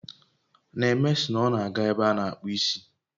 Neme sị na ọ na aga ebe a na akpu isi